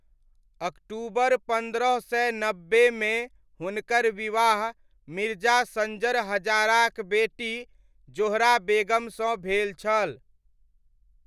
अक्टूबर पन्द्रह सय नब्बेमे हुनकर विवाह मिर्जा सञ्जर हजाराक बेटी ज़ोहरा बेगमसँ भेल छल।